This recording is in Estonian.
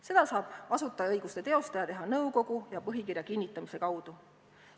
Seda saab asutajaõiguste teostaja teha nõukogu ja põhikirja kinnitamise kaudu.